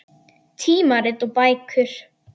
Tímarit og bækur.